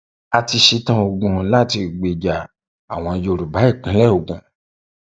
a ti ṣetán ogun láti gbèjà àwọn yorùbá ìpínlẹ ogun